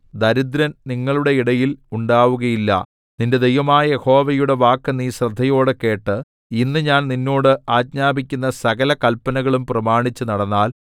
ദരിദ്രൻ നിങ്ങളുടെ ഇടയിൽ ഉണ്ടാവുകയില്ല നിന്റെ ദൈവമായ യഹോവയുടെ വാക്ക് നീ ശ്രദ്ധയോടെ കേട്ട് ഇന്ന് ഞാൻ നിന്നോട് ആജ്ഞാപിക്കുന്ന സകല കല്പനകളും പ്രമാണിച്ചു നടന്നാൽ